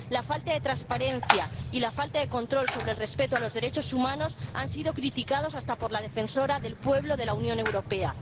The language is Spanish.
La falta de transparencia y la falta de control sobre el respeto de los derechos humanos han sido criticadas hasta por la Defensora del Pueblo de la Unión Europea.